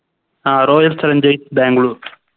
ആ Royal challengers bangalore